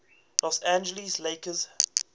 los angeles lakers